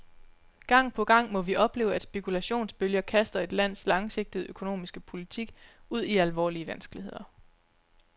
Gang på gang må vi opleve, at spekulationsbølger kaster et lands langsigtede økonomiske politik ud i alvorlige vanskeligheder.